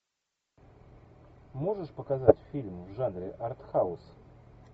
можешь показать фильм в жанре арт хаус